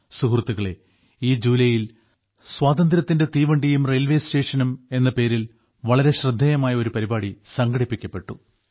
സുഹൃത്തുക്കളേ ഈ ജൂലായിൽ സ്വാതന്ത്ര്യത്തിന്റെ തീവണ്ടിയും റെയിൽവേ സ്റ്റേഷനും എന്ന പേരിൽ വളരെ ശ്രദ്ധേയമായ ഒരു പരിപാടി സംഘടിപ്പിക്കപ്പെട്ടു